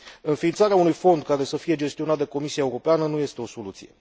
Înființarea unui fond care să fie gestionat de Comisia Europeană nu este o soluție.